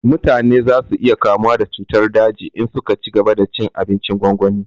Mutane za su iya kamuwa da cutar daji in su ka cigaba da cin abincin gwangwani